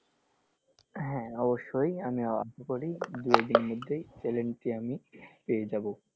হ্যাঁ অবশ্যই আমি আসা করি দু এক দিনের মধ্যেই channel টি আমি পেয়ে যাবো।